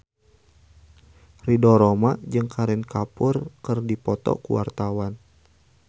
Ridho Roma jeung Kareena Kapoor keur dipoto ku wartawan